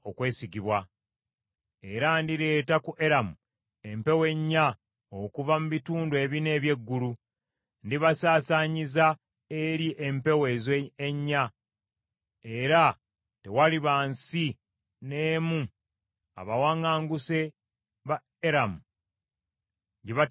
Era ndireeta ku Eramu empewo ennya, okuva mu bitundu ebina eby’eggulu; ndibasaasaanyiza eri empewo ezo ennya, era tewaliba nsi n’emu abawaŋŋanguse ba Eramu gye bataliddukiramu.